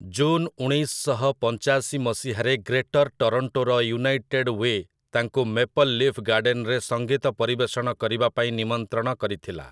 June ଉଣେଇଶ ଶହ ପଞ୍ଚାଶି ମସିହାରେ ଗ୍ରେଟର୍ ଟରୋଣ୍ଟୋର ୟୁନାଇଟେଡ୍ ୱେ ତାଙ୍କୁ ମେପଲ୍ ଲିଫ୍ ଗାର୍ଡେନ୍‌ରେ ସଙ୍ଗୀତ ପରିବେଷଣ କରିବା ପାଇଁ ନିମନ୍ତ୍ରଣ କରିଥିଲା ।